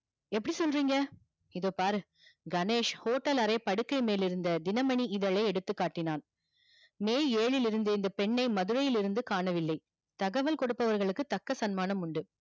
எப்டி சொல்றிங்க இதோ பாரு கணேஷ் hotel அறையில் படுக்கை மேல்லிருந்த தினமணி இதலை காட்டினான் மே ஏழிலிருந்தே இந்த பெண்ணை மதுரையில் இருந்து காண வில்லை தகவல் குடுப்போற்கு தக்க சன்மானம் உண்டு